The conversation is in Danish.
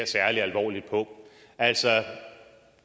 særlig alvorligt på altså at